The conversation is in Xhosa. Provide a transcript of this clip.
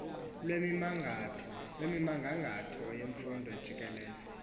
lwemigangatho yemfundo jikelele